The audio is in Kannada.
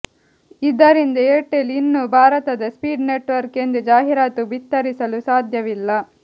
ಇದರಿಂದ ಏರ್ಟೆಲ್ ಇನ್ನು ಭಾರತದ ಸ್ಪೀಡ್ ನೆಟ್ವರ್ಕ್ ಎಂದು ಜಾಹಿರಾತು ಬಿತ್ತರಿಸಲು ಸಾಧ್ಯವಿಲ್ಲ